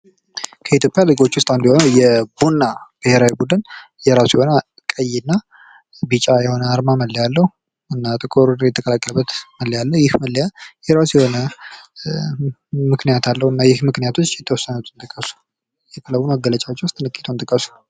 ከኢትዮጵያ ሊጎች ውስጥ አንዱ የሆነው የቡና ብሄራዊ ቡድን የራሱ የሆነ ቢጫና ቀይ አርማ መለያ አለው እና ጥቁር የተቀላቀለበት መለያ አለው ።ይህ መለያ የራሱ የሆነ ምክንያት አለዉና ከክለቡ መገለጭዎች ውስጥ ጥቂቶችን ጥቅሱ?